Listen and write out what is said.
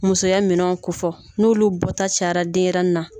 Musoya minɛnw ko fɔ n'olu bɔta cayara denɲɛrɛnin na.